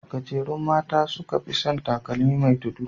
Gajerun mata su suka fi san takalmi mai tudu.